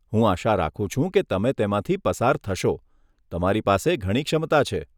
હું આશા રાખું છું કે તમે તેમાંથી પસાર થશો, તમારી પાસે ઘણી ક્ષમતા છે.